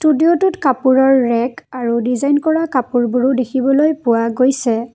কাপোৰৰ ৰেক আৰু ডিজাইন কৰা কাপোৰবোৰো দেখিবলৈ পোৱা গৈছে।